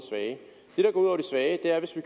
svage er hvis vi